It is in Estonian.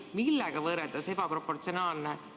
Millega võrreldes ebaproportsionaalne?